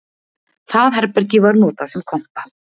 Það herbergi var notað sem kompa